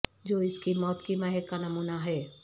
جو اس کی موت کی مہک کا نمونہ ہے